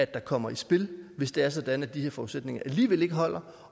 kommer i spil hvis det er sådan at de her forudsætninger alligevel ikke holder